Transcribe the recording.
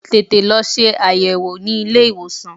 Tètè lọ ṣe àyẹ̀wò ní ilé ìwòsàn!